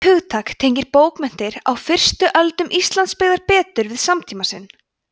það hugtak tengir bókmenntir á fyrstu öldum íslandsbyggðar betur við samtíma sinn